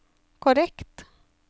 korrekt